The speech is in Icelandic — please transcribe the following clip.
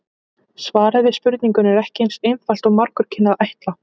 Svarið við spurningunni er ekki eins einfalt og margur kynni að ætla.